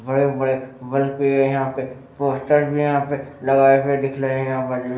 बड़े-बड़े बड़े पेड़ है यहाँ पे पोस्टर भी यहाँ पे लगाए हुए दिख लहें है यहाँ बाजू में।